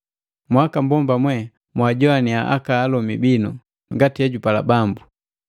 Mwakambomba mwe mwajoaniya aka alomi binu, ngati ejupala Bambu.